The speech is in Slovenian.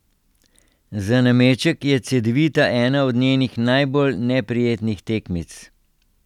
Za nameček je Cedevita ena od njenih najbolj neprijetnih tekmic.